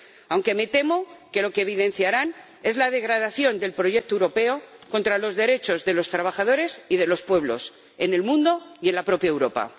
aunque me temo que lo que evidenciarán es la degradación del proyecto europeo contra los derechos de los trabajadores y de los pueblos, en el mundo y en la propia Europa.